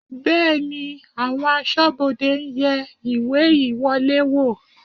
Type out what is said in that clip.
Bẹ́ẹ̀ni, àwọn aṣọ́bodè ń yẹ ìwé ìwọlé wò